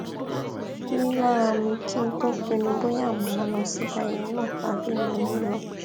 rí lára mi kí n tó pinnu bóyá màá lọ síbi ayẹyẹ náà tàbí mi ò ní lọ